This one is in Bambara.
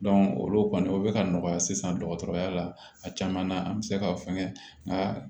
olu kɔni o bɛ ka nɔgɔya sisan dɔgɔtɔrɔya la a caman na an bɛ se ka fɛngɛ nga